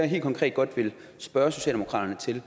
helt konkret godt vil spørge socialdemokratiet